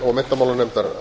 og menntamálanefndar